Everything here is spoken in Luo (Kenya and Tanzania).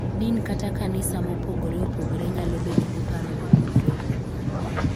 Din kata kanisa mopogore opogore nyalo bedo gi paro mopogore opogore .